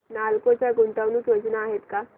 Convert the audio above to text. नालको च्या गुंतवणूक योजना आहेत का